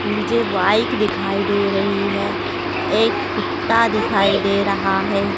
मुझे बाइक दिखाई दे रही है एक कुत्ता दिखाई दे रहा है।